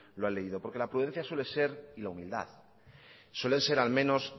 lo han leído porque la prudencia suele ser y la humildad suelen ser al menos